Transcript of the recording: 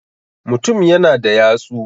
mutum yana da yatsu